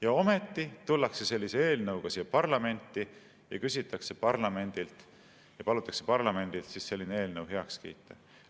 Ja ometi tullakse sellise eelnõuga siia parlamenti ja palutakse parlamendil selline eelnõu heaks kiita.